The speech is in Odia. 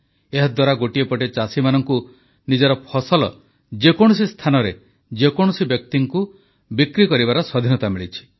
ଏହାଦ୍ୱାରା ଗୋଟିଏ ପଟେ ଚାଷୀମାନଙ୍କୁ ନିଜର ଫସଲ ଯେକୌଣସି ସ୍ଥାନରେ ଯେକୌଣସି ବ୍ୟକ୍ତିକୁ ବିକ୍ରି କରିବାର ସ୍ୱାଧୀନତା ମିଳିଛି